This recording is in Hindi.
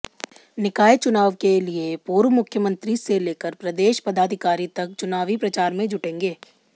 निकाय चुनाव के लिए पूर्व मुख्यमंत्री से लेकर प्रदेश पदाधिकारी तक चुनावी प्रचार में जुटेंगे